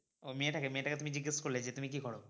ও মেয়েটাকে? মেয়েটাকে তুমি জিজ্ঞেস করলে যে তুমি কি করো?